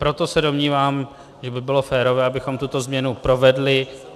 Proto se domnívám, že by bylo férové, abychom tuto změnu provedli.